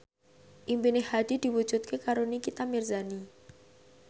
impine Hadi diwujudke karo Nikita Mirzani